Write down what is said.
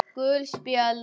Gul spjöld